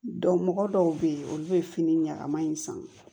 mɔgɔ dɔw bɛ yen olu bɛ fini ɲɛgɛn ma in san